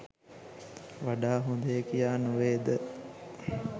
වඩා හොදය කියා නොවේද?